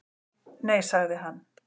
"""Nei, sagði hann."""